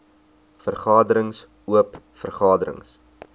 vergaderings oop vergaderings